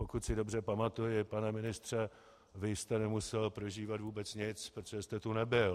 Pokud si dobře pamatuji, pane ministře, vy jste nemusel prožívat vůbec nic, protože jste tu nebyl.